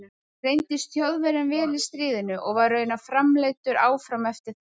Hann reyndist Þjóðverjum vel í stríðinu og var raunar framleiddur áfram eftir það.